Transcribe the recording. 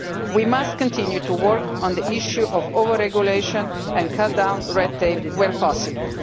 We must continue to work on the issue of over-regulation and cut down red tape where possible.